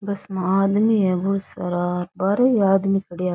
Bus में आदमी है बोला सारा बार ही आदमी खड़िया है।